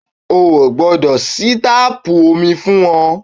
O ò gbọ́dọ̀ ṣí táàpù omi fún wọn